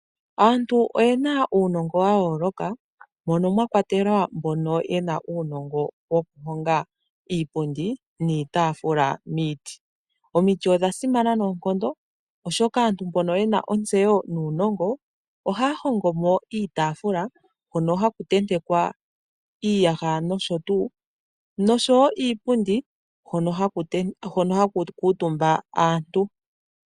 Aantu oye na uunongo wayoloka mono mwakwatelwa mbono ye na uunongo yokuhonga iipundi niitaafula miiti. Omiti odha simana noonkondo oshoka aantu mbono ye na ontseyo nuunongo ohaya hongo mo iitaafula hono haku tentekwa iiyaha noshotu noshowo iipundi hono haku kuutumba aantu.